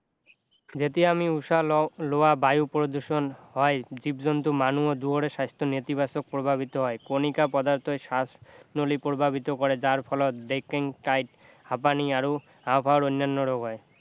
যেতিয়া আমি উশাহ লওঁ লোৱা বায়ু প্ৰদূষণ হয় জীৱ-জন্তু আৰু মানুহৰ দুয়োৰে স্বাস্থ্য নেতিবাচক প্ৰভাৱিত হয় কণিকা পদাৰ্থই শ্বাসনলী প্ৰভাৱিত কৰে যাৰ ফলত হাপানি আৰু হাওঁফাওঁৰ অন্যান্য ৰোগ হয়